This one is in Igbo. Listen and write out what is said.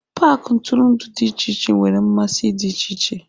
paaki ntụrụndụ dị iche iche nwere mmasị dị iche iche.